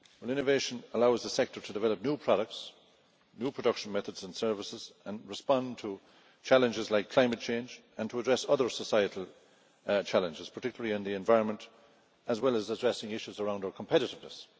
Innovation allows the sector to develop new products, new production methods and services, to respond to challenges like climate change, and to address other societal challenges, particularly in the environment, as well as addressing issues around our competitiveness.